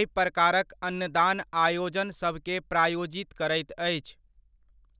एहिप्रकारक अन्नदान आयोजन सभकेँ प्रायोजित करैत अछि।